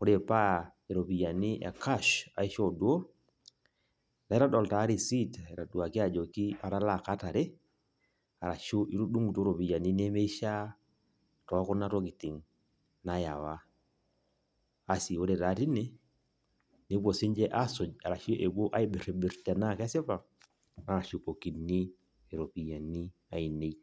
Ore paa iropiyiani e cash aishoo duoo , naitodol taa receipt, aitoduaki ajoki arashu itudungutuo iropiyiani nemishiaa tookuna tokitin naewa. Asi ore taa tine nepuo siniche asuj ashu epuo aibirbir tenaa kesipa , naashukokini iropiyiani ainei.